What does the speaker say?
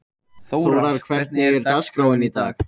Þórar, hvernig er dagskráin í dag?